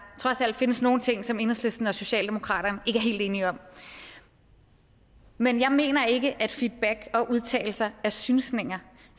trods alt findes nogle ting som enhedslisten og socialdemokratiet helt enige om men jeg mener ikke at feedback og udtalelser er synsninger